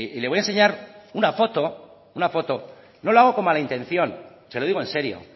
le voy a enseñar una foto no lo hago con mala intención se lo digo en serio